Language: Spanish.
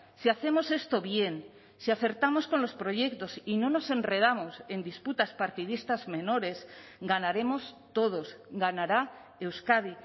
si hacemos esto bien si acertamos con los proyectos y no nos enredamos en disputas partidistas menores ganaremos todos ganará euskadi